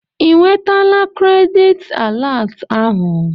Ị nwetala kredit alat ahụ?